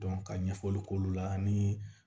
ka ɲɛfɔli k'olu la ani